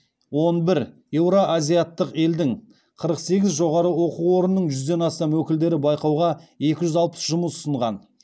он бір еуроазиаттық елдің қырық сегіз жоғары оқу орнының жүзден астам өкілдері байқауға екі жүз алпыс жұмыс ұсынған